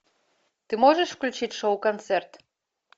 ты можешь включить шоу концерт